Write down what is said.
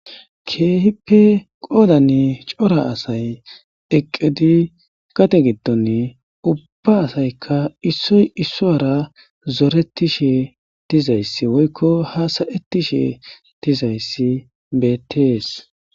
keehippe qoodanni cora asay eqqedi kate giddonne ubba asaykka issoy issoyara zoretishe dizayssi woykko hasayettishe dizayssi bettees